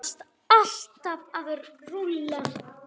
Þú varst alltaf að raula.